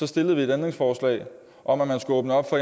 stillet et ændringsforslag om at man skulle åbne op for